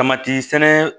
Tamati sɛnɛ